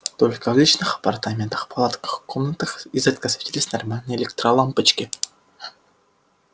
только в личных апартаментах палатках комнатах изредка светились нормальные электролампочки